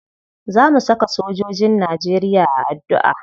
Za mu saka sojojin najeriya a addu'a.